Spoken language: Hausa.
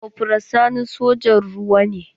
Kofral Sani sojan ruwa ne?